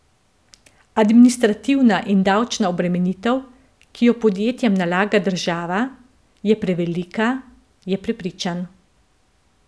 Administrativna in davčna obremenitev, ki jo podjetjem nalaga država, je prevelika, je prepričan.